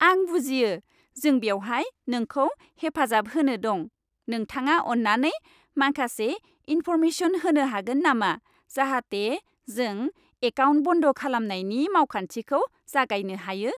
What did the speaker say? आं बुजियो। जों बेवहाय नोंखौ हेफाजाब होनो दं। नोंथाङा अन्नानै माखासे इन्फर्मेशन होनो हागोन नामा जाहाथे जों एकाउन्ट बन्द खालामनायनि मावखान्थिखौ जागायनो हायो।